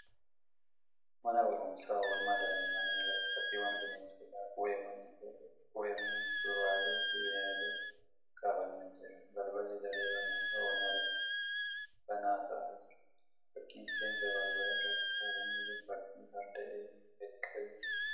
Mana barumsaa oolmaa daa'immanii irratti fakkiiwwan bineensotaa, qubeewwanii, fuduraalee fi bineeldotaa kaafamee jira. Balballi daree barnootaa oolmaa daa'immanii banaa taa'aa jira. Fakkiin seensa balbala irratti kaafamee jiru fakkii farda eegee gadi qabee jiruuti.